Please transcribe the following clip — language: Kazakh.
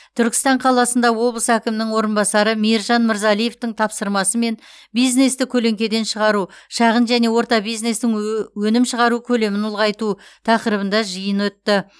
түркістан қаласында облыс әкімінің орынбасары мейіржан мырзалиевтің тапсырмасымен бизнесті көлеңкеден шығару шағын және орта бизнестің ө өнім шығару көлемін ұлғайту тақырыбында жиын өтті